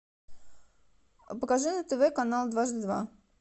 покажи на тв канал дважды два